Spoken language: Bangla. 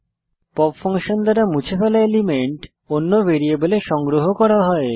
পপ ফাংশন দ্বারা মুছে ফেলা এলিমেন্ট অন্য ভ্যারিয়েবলে সংগ্রহ করা যায়